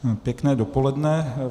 Pěkné dopoledne.